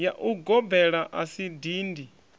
ya ugobela a si dindi